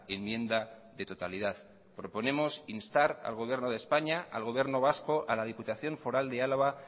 enmienda de totalidad proponemos instar al gobierno de españa al gobierno vasco a la diputación foral de álava